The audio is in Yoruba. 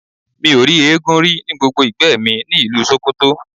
Mi ò rí eégún rí ní gbogbo ìgbẹ́ mi ni ìlú Sókótó.